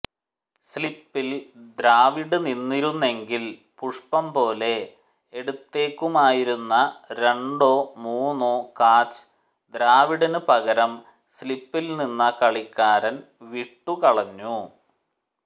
സ്ലിപ്പിൽ ദ്രാവിഡ് നിന്നിരുന്നെങ്കിൽ പുഷ്പം പോലെ എടുത്തേക്കുമായിരുന്ന രണ്ടോ മൂന്നോ കാച്ച് ദ്രാവിഡിന് പകരം സ്ലിപ്പിൽ നിന്ന കളിക്കാരൻ വിട്ടുകളഞ്ഞു